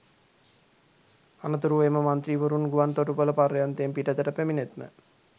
අනතුරුව එම මන්ත්‍රීවරුන් ගුවන් තොටුපළ පර්යන්තයෙන් පිටතට පැමිණෙත්ම